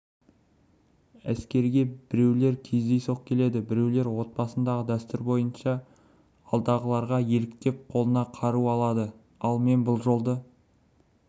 әскерге біреулер кездейсоқ келеді біреулер отбасындағы дәстүр бойынша алдындағыларға еліктеп қолына қару алады мен бұл жолды